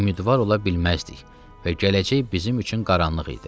Ümidvar ola bilməzdik və gələcək bizim üçün qaranlıq idi.